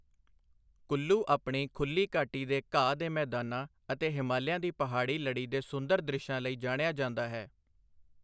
ਕੁੱਲੂ ਆਪਣੀ ਖੁੱਲ੍ਹੀ ਘਾਟੀ ਦੇ ਘਾਹ ਦੇ ਮੈਦਾਨਾਂ ਅਤੇ ਹਿਮਾਲਿਆ ਦੀ ਪਹਾੜੀ ਲੜੀ ਦੇ ਸੁੰਦਰ ਦ੍ਰਿਸ਼ਾਂ ਲਈ ਜਾਣਿਆ ਜਾਂਦਾ ਹੈ।